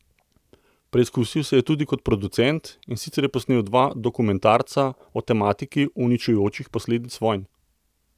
Preizkusil se je tudi kot producent, in sicer je posnel dva dokumentarca o tematiki uničujočih posledic vojn.